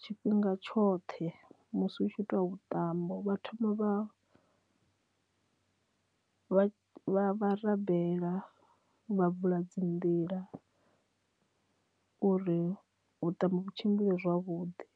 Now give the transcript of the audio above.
tshifhinga tshoṱhe musi hu tshi itwa vhuṱambo vhathoma vha vha rambela vha vula dzi nḓila uri vhuṱambo vhu tshimbile zwavhuḓi.